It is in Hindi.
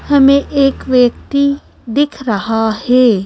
हमें एक व्यक्ति दिख रहा है।